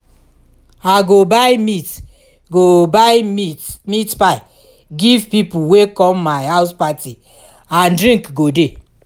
i go buy meat go buy meat pie give people wey come my house party and drink go dey